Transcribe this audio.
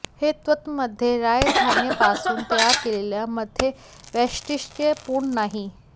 हे तत्त्व मध्ये राय धान्यापासून तयार केलेले मद्य वैशिष्ट्यपूर्ण नाही